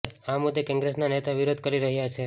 આ મુદ્દે કોંગ્રેસના નેતા વિરોધ કરી રહ્યા છે